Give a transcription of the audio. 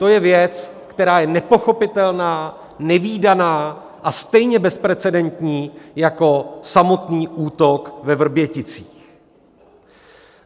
To je věc, která je nepochopitelná, nevídaná a stejně bezprecedentní jako samotný útok ve Vrběticích.